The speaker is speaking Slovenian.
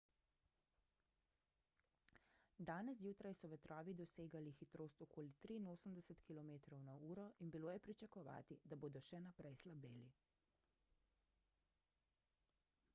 danes zjutraj so vetrovi dosegali hitrost okoli 83 km/h in bilo je pričakovati da bodo še naprej slabeli